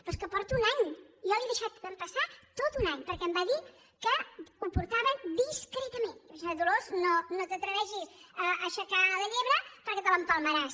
però és que porto un any jo li he deixat passar tot un any perquè em va dir que ho portava discretamentvaig pensar dolors no t’atreveixis a aixecar la llebre perquè te l’empalmaràs